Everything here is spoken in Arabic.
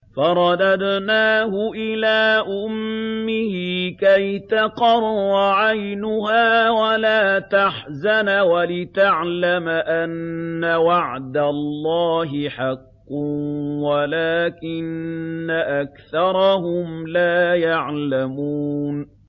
فَرَدَدْنَاهُ إِلَىٰ أُمِّهِ كَيْ تَقَرَّ عَيْنُهَا وَلَا تَحْزَنَ وَلِتَعْلَمَ أَنَّ وَعْدَ اللَّهِ حَقٌّ وَلَٰكِنَّ أَكْثَرَهُمْ لَا يَعْلَمُونَ